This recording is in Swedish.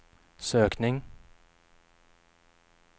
sökning